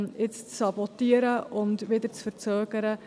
Dies würde man jetzt sabotieren und verzögern.